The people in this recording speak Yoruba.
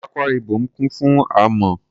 Akwa Ibom kún fún amọ̀.